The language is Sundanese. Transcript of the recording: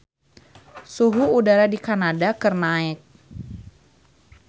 Suhu udara di Kanada keur naek